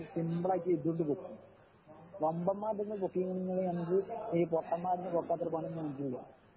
സിമ്പിളാക്കി എടുതോണ്ട് പൊക്കും വമ്പൻമാരിൽ നിന്നു പൊക്കി നിന്ന ഞങ്ങൾക്ക് ഈ പൊട്ടന്മാരിൽ നിന്നു പൊക്കാൻ അത്ര പണിയൊന്നുമില്ല